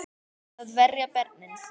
Að verja börnin sín.